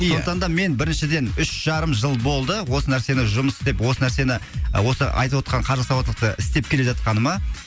ия сондықтан да мен біріншіден үш жарым жыл болды осы нәрсені жұмыс істеп осы нәрсені осы айтып отырған қаржы сауаттылықты істеп келе жатқаныма